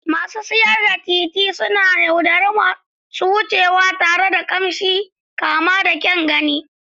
Masu siyar da titi suna yaudari masu wucewa tare da ƙamshi masu kama da kyan gani.